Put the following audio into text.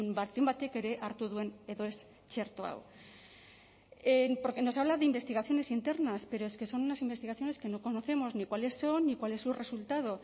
baten batek ere hartu duen edo ez txerto hau porque nos habla de investigaciones internas pero es que son unas investigaciones que no conocemos ni cuáles son ni cuál es su resultado